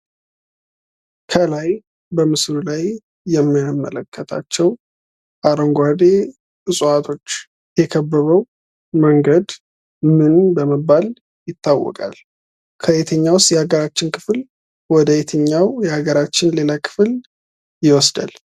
ከላይ በምስሉ ላይ የምንመለከታቸው አረንጓዴ እፅዋቶች የከበበው መንገድ ምን በመባል ይታወቃል? ከየትኛውስ የሀገራችን ክፍል ወደ የትኛው የሀገራችን ሌላ ክፍል ይወስዳል ?